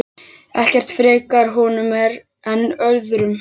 Ekkert frekar honum en öðrum.